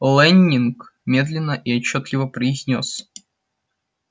лэннинг медленно и отчётливо произнёс